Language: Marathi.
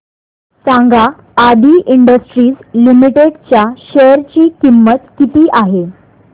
सांगा आदी इंडस्ट्रीज लिमिटेड च्या शेअर ची किंमत किती आहे